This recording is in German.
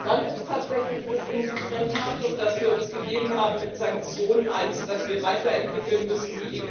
dann ist tatsächlich das Instrumentarium, das wir uns gegeben haben mit Sanktionen eines, das wir weiterentwickeln müssen.